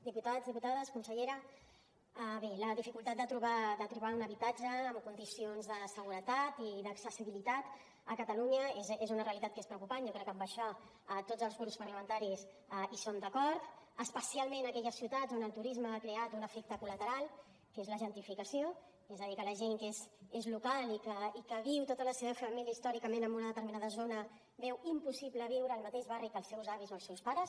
diputats diputades consellera bé la dificultat de trobar un habitatge amb condicions de seguretat i d’accessibilitat a catalunya és una realitat que és preocupant jo crec que en això tots els grups parlamentaris estem d’acord especialment en aquelles ciutats on el turisme ha creat un efecte col·lateral que és la gentrificació és a dir que la gent que és local i que viu tota la seva família històricament en una determinada zona veu impossible viure al mateix barri que els seus avis o els seus pares